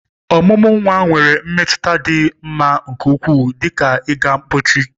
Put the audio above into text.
Ọmụmụ nwa nwere mmetụta dị m mma nke ukwuu, dị ka ịga mpochi.